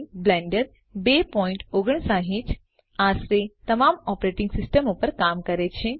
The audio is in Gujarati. બ્લેન્ડર 2५९ આશરે તમામ ઓપરેટિંગ સિસ્ટમો પર કામ કરે છે